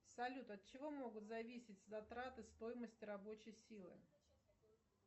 салют от чего могут зависеть затраты стоимости рабочей силы